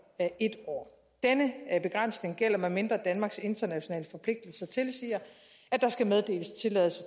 en år denne begrænsning gælder medmindre danmarks internationale forpligtelser tilsiger at der skal meddeles tilladelse